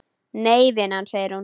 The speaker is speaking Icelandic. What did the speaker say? Nei vinan, segir hún.